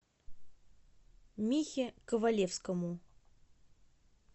михе ковалевскому